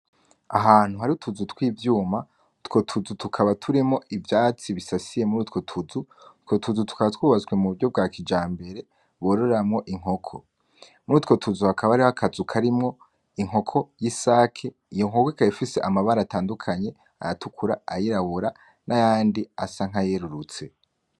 Ahantu hari utuzu tw'ivyuma, utwo tuzu tukaba turimwo ivyatsi bisasiye muri utwo tuzu, utwo tuzu tukaba twubatswe mu buryo bwa kija mbere bororamwo inkoko muri utwo tuzu hakaba hariho akazuka karimwo inkoko, y'isake iyo nkoko ikaba ifise amabara atandukanye ayatukura, ayirabura, n'ayandi asa nka yerurutse.